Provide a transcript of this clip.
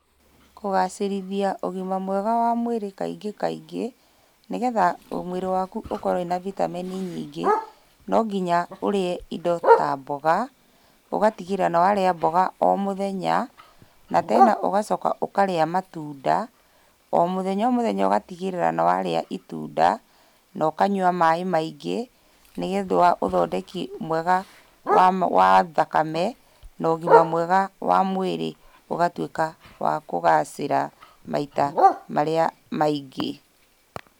Kũgacĩrithia ũgima mwega wa mwĩrĩ kaingĩ kaingĩ, nĩgetha mwĩrĩ waku ũkorwo wĩna bitameni nyingĩ, no nginya ũrĩe indo ta mboga. Ũgatigĩrĩra nĩwarĩa mboga o mũthenya, na tena ũgacoka ũkarĩa matunda. O mũthenya o mũthenya ũgatigĩrĩra nĩwarĩa itunda, na ũkanyua maĩ maingĩ, nĩgetha ũthondeki mwega wa wa thakame na ũgima mwega wa mwĩrĩ ũgatuĩka wa kũgacĩra maita marĩa maingĩ.